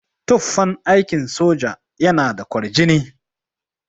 Tufan aikin soja yana da kwarjini.